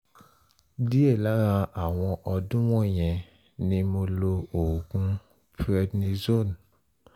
díẹ̀ lára àwọn ọdún wọ̀nyẹn ni mo lo oògùn prednizone